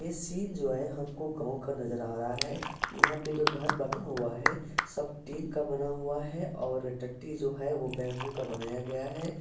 ये सीन जो है हमको गांव का नज़र आ रहा है| यहाँ पे जो घर बना हुआ है सब टीन का बना हुआ है और टट्टी जो है बम्बू का बनाया गया है।